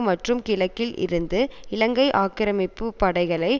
மற்றும் கிழக்கில் இருந்து இலங்கை ஆக்கிரமிப்பு படைகளை